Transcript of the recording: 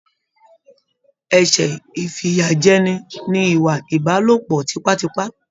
Ẹsẹ ifiyajẹni ní ìwà ìbálòpọ̀ tipatipa.